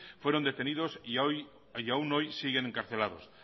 fueron detenidos y aún hoy siguen encarcelados